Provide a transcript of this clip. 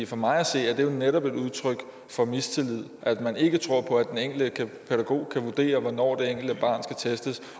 for mig at se er det jo netop et udtryk for mistillid at man ikke tror på at den enkelte pædagog kan vurdere hvornår det enkelte barn skal testes